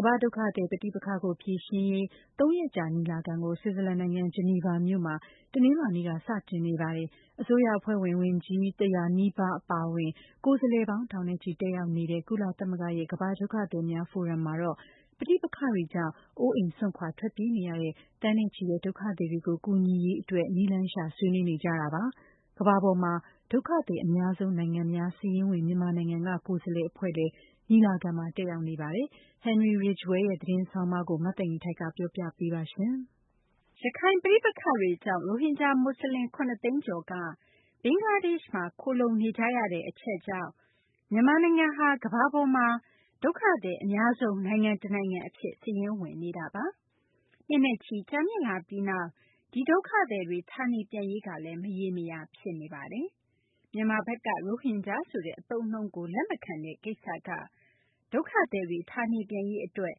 ကမ္ဘာ့ ဒုက္ခသည် ပဋိပက္ခကို ဖြေရှင်းရေး သုံးရက်ကြာ ညီလာခံကို ဆွစ်ဇာလန် နိုင်ငံ ဂျီနီဗာ မြို့မှာ တနလာၤနေ့က စတင်နေပါတယ်။ အစိုးရ အဖွဲ့ဝင် ဝန်ကြီး ၁၀၀ နီးပါး အပါအဝင် ကိုယ်စားလှယ်ပေါင်း ထောင်နဲ့ချီ တက်ရောက်နေတဲ့ ကုလသမဂ္ဂရဲ့ ကမ္ဘာ့ ဒုက္ခသည်များ ဖိုရမ်မှာတော့ ပဋိပက္ခတွေကြောင့် အိုးအိမ်စွန့်ခွာ ထွက်ပြေးနေရတဲ့ သန်းနဲ့ချီတဲ့ ဒုက္ခသည်တွေကို ကူညီရေး အတွက် နည်းလမ်းရှာ ဆွေးနွေးနေကြတာပါ။ ကမ္ဘာပေါ်မှာ ဒုက္ခသည် အများဆုံး နိုင်ငံများ စာရင်းဝင် မြန်မာနိုင်ငံက ကိုယ်စားလှယ် အဖွဲ့လည်း ညီလာခံမှာ တက်ရောက်နေကြပါတယ်။ Henry Ridgwell ရဲ့ သတင်းဆောင်းပါးကို မသိင်္ဂ ီထိုက် ပြောပြပေးမှာပါ။ ရခိုင် ပဋိပက္ခတွေကြောင့် ရိုဟင်ဂျာ မွတ်ဆလင် ၇ သိန်းကျော်က ဘင်္ဂလားဒေရှ့်မှာ ခိုလှုံနေကြရတဲ့ အချက်ကြောင့် မြန်မာနိုင်ငံဟာ ကမ္ဘာပေါ်မှာ ဒုက္ခသည် အများဆုံး နိုင်ငံတနိုင်ငံ အဖြစ် စာရင်းဝင်နေတာပါ။ နှစ်နဲ့ချီ ကြာမြင့်လာပြီးနောက် ဒီဒုက္ခသည်တွေ ဌာနေပြန်ရေးကလည်း မရေမရာ ဖြစ်နေပါတယ်။ မြန်မာဘက်က ရိုဟင်ဂျာ ဆိုတဲ့ အသုံးအနှုန်းကို လက်မခံတဲ့ ကိစ္စက ဒုက္ခသည်တွေ ဌာနေပြန်ရေး အတွက်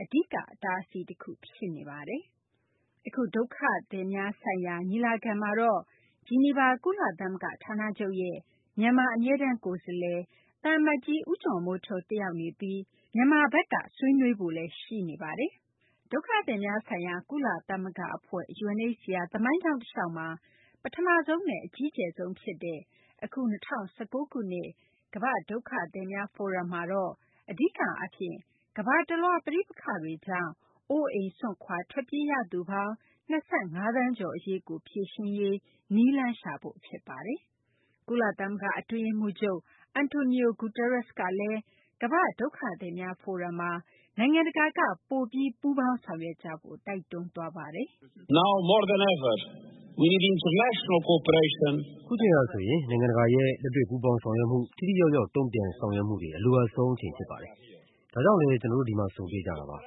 အဓိက အတားအဆီး တခု ဖြစ်နေတာပါ။ အခု ကမ္ဘာ့ဒုက္ခသည်များဆိုင်ရာ ညီလာခံမှာတော့ ဂျီနီဗာ ကုသလဂ္ဂ ဌာနချုပ်ရဲ့ မြန်မာ အမြဲတမ်း ကိုယ်စားလှယ် သံအမတ်ကြီး ဦးကျော်မိုးထွန်း တက်ရောက်နေပြီး မြန်မာဘက်က ဆွေးနွေးဖို့လည်း ရှိနေပါတယ်။ ကုလသမဂ္ဂ ဒုက္ခသည်များဆိုင်ရာ အဖွဲ့ UNHCR သမိုင်းကြောင်း တလျှောက်မှာ အကြီးကျယ်ဆုံး ဖြစ်တဲ့ အခု ၂၀၁၉ ခုနှစ် ကမ္ဘာ့ ဒုက္ခသည်များ ဖိုရမ်ကတော့ အဓိက အားဖြင့် ကမ္ဘာတလွှားက ပဋိပက္ခတွေကြောင့် အိုးအိမ်စွန့်ခွာ ထွက်ပြေးရသူပေါင်း ၂၅ သန်းကျော် အရေးကို ဖြေရှင်းရေး နည်းလမ်းရှာဖို့ ဖြစ်ပါတယ်။ ကုလသမဂ္ဂ အတွင်းရေးမှူးချုပ် Antonio Guterres ကလည်း ကမ္ဘာ့ ဒုက္ခသည်များ ဖိုရမ်မှာ နိုင်ငံတကာက ပိုပြီး ပူးပေါင်းဆောင်ရွက်ကြဖို့ တိုက်တွန်းသွားပါတယ်။ “အခုအချိန်ဟာ ဆိုရင် နိုင်ငံတကာရဲ့ လက်တွေ့ ပူးပေါင်းဆောင်ရွက်မှု၊ ထိထိရောက်ရောက် တုံ့ပြန်ဆောင်ရွက်မှုတွေ အလိုအပ်ဆုံး အချိန် ဖြစ်ပါတယ်။ ဒါကြောင့်လည်း ကျနော်တို့ ဒီမှာ ဆုံတွေ့နေကြတာပါ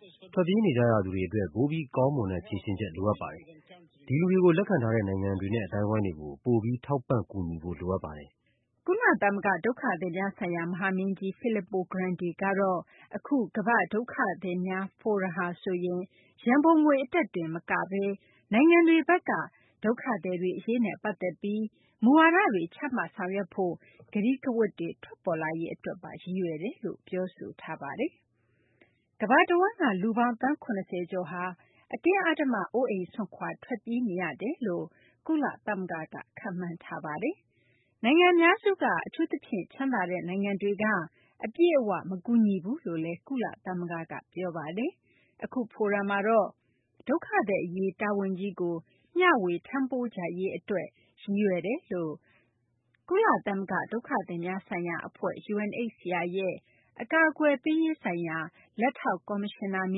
။ ထွက်ပြေးနေကြသူတွေ အတွက် ပိုပြီး ကောင်းမွန်တဲ့ ဖြေရှင်းချက် လိုအပ်ပါတယ်၊ ဒီလူတွေကို လက်ခံထားတဲ့ နိုင်ငံတွေနဲ့ အသိုင်းအဝိုင်းတွေကို ပိုပြီး ထောက်ပံ့ ကူညီဖို့ လိုအပ်ပါတယ်။ ” ကုလသမဂ္ဂ ဒုက္ခသည်များဆိုင်ရာ မဟာမင်းကြီး Filippo Grandi ကတော့ အခု ကမ္ဘာ့ ဒုက္ခသည် ဖိုရမ်ဟာဆိုရင် ရန်ပုံငွေ အတွက်တင် မကဘဲ နိုင်ငံတွေဘက်က ဒုက္ခသည်တွေ အရေးနဲ့ ပတ်သက်ပြီး မူဝါဒတွေ ချမှတ်ဆောင်ရွက်ဖို့ ကတိကဝတ်တွေ ထွက်ပေါ်လာရေး အတွက်ပါ ရည်ရွယ်တယ်လို့ ပြောဆိုထားပါတယ်။ ကမ္ဘာတဝန်းက လူပေါင်း သန်း ၇၀ ကျော်ဟာ အတင်းအဓမ္မ အိုးအိမ်စွန့်ခွာ ထွက်ပြေးနေကြရတယ်လို့ ကုလသမဂ္ဂက ခန့်မှန်းထားပါတယ်။ နိုင်ငံအများစုက အထူးသဖြင့် ချမ်းသာတဲ့ နိုင်ငံတွေက အပြည့်အ၀ မကူညီဘူးလို့လည်း ကုလသမဂ္ဂက ပြောပါတယ်။ အခု ဖိုရမ်မှာတော့ ဒုက္ခသည် အရေး တာဝန်ကြီးကို မျှေ၀ ထမ်းပိုးကြရေး အတွက်လည်း ရည်ရွယ်တယ်လို့ ကုလသမဂ္ဂ ဒုက္ခသည်များဆိုင်ရာ အဖွဲ့ UNHCR ရဲ့ အကာအကွယ်ပေးရေးဆိုင်ရာ လက်ထောက် ကော်မရှင်နာမ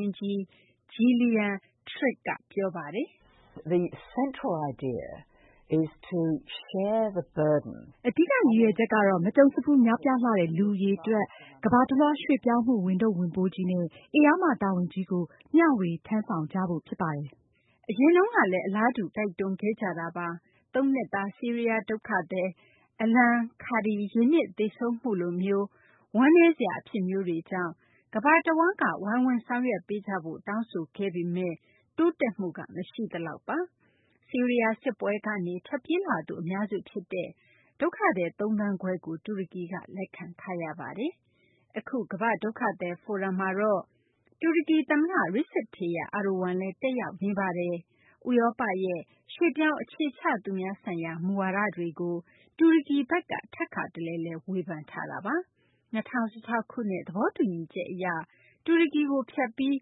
င်းကြီး Gillian Triggs က အခုလို ပြောပါတယ်။ "အဓိက ရည်ရွယ်ချက်ကတော့ မကြုံစဖူး များပြားလှတဲ့ လူ အရေအတွက်၊ ကမ္ဘာတလွှား ရွှေ့ပြောင်းမှု ဝန်ထုပ်ဝန်ပိုးကြီးနဲ့ ဧရာမ တာဝန်ကြီးကို မျှေ၀ ထမ်းဆောင်ကြဖို့ ဖြစ်ပါတယ်။" အရင်တုန်းကလည်း အလားတူ တိုက်တွန်းခဲ့ကြတာပါ။ သုံးနှစ်သား ဆီးရီးယား ဒုက္ခသည် Alan Kurdi ရေနစ် သေဆုံးမှုလိုမျိုး ဝမ်းနည်းစရာ အဖြစ်မျိုးတွေကြောင့် ကမ္ဘာတဝန်းက ဝိုင်းဝန်း ဆောင်ရွက်ပေးကြဖို့ တောင်းဆိုခဲ့ပေမယ့် တိုးတက်မှု မရှိသလောက်ပါ။ ဆီးရီးယား စစ်ပွဲကနေ ထွက်ပြေးလာသူ အများစု ဖြစ်တဲ့ ဒုက္ခသည် သုံးသန်းခွဲကို တူရကီက လက်ခံထားရတာပါ။ အခု ကမ္ဘာ့ ဒုက္ခသည် ဖိုရမ်မှာတော့ တူရကီ သမ္မတ Recep Tayyip Erdogan လည်း တက်ရောက်နေပါတယ်။ ဥရောပရဲ့ ရွှေ့ပြောင်း အခြေချသူများဆိုင်ရာ မူဝါဒတွေကို တူရကီဘက်က ထပ်ခါတလဲလဲ ဝေဖန်ထားပါတယ်။ ၂၀၁၆ ခုနှစ် သဘောတူညီချက် အရ တူရကီကို ဖြတ်ပြီး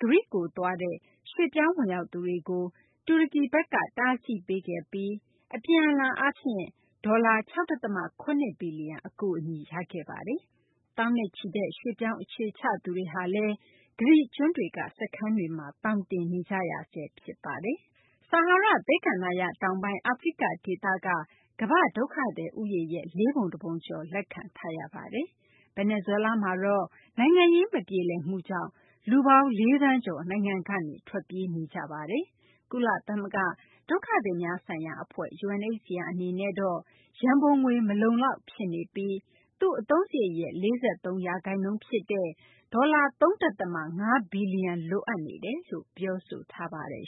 ဂရိကို သွားရောက်တဲ့ ရွှေ့ပြောင်းဝင်ရောက်သူတွေကို တူရကီဘက်က တားဆီးခဲ့ပြီး အပြန်အလှန်အားဖြင့် ဒေါ်လာ ၆ ဒသမ ၇ ဘီလျံ အကူအညီ ရရှိခဲ့ပါတယ်။ သောင်းချီတဲ့ ရွှေ့ပြောင်း အခြေချသူတွေ ဂရိ ကျွန်းတွေက စခန်းတွေမှာ သောင်တင်နေကြရဆဲ ဖြစ်ပါတယ်။ ဆာဟာရ သဲကန္တာရ တောင်ပိုင်း အာဖရိက ဒေသက ကမ္ဘ့ ဒုက္ခသည် ဦးရေနဲ့ လေးပုံတပုံကျော် လက်ခံထားရပါတယ်။ ဗင်နီဇွဲလားမှာတော့ နိုင်ငံရေး မပြေလည်မှုကြောင့် လူပေါင်း ၄ သန်းကျော် နိုင်ငံကနေ ထွက်ပြေးနေကြပါတယ်။ ကုလသမဂ္ဂ ဒုက္ခသည်များဆိုင်ရာ အဖွဲ့ UNHCR အနေနဲ့တော့ ရန်ပုံငွေ မလုံလောက် ဖြစ်နေပြီး သူ့အသုံးစာရိတ်ရဲ့ ၄၃% ဖြစ်တဲ့ ဒေါ်လာ ၃.၅ ဘီလျံ လိုအပ်နေတယ်လို့ ပြောဆိုထားပါတယ်